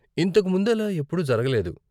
ఇంతకు ముందు ఇలా ఎప్పుడూ జరగలేదు.